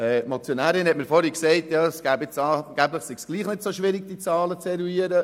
Die Motionärin hat mir vorhin gesagt, angeblich sei es doch nicht so schwierig, diese Zahlen zu eruieren.